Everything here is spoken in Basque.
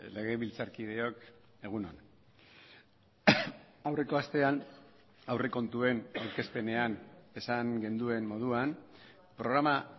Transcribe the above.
legebiltzarkideok egun on aurreko astean aurrekontuen aurkezpenean esan genuen moduan programa